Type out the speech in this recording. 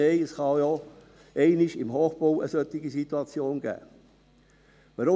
Nein, es kann auch im Hochbau einmal eine solche Situation geben.